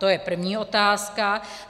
To je první otázka.